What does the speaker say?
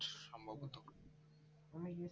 অনেকে